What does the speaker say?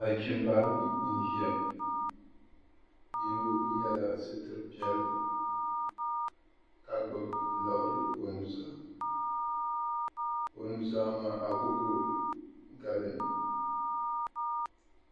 Nachimba ayi n-ʒiya yino yela sitir'piɛlli ka gbubi laɣiri o nu'zaa o nu'zaa maa agogo gali mi.